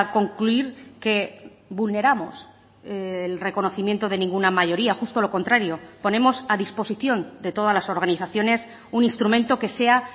concluir que vulneramos el reconocimiento de ninguna mayoría justo lo contrario ponemos a disposición de todas las organizaciones un instrumento que sea